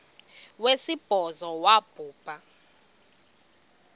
wesibhozo wabhu bha